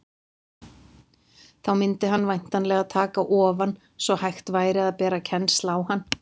Þá mundi hann væntanlega taka ofan, svo hægt væri að bera kennsl á hann.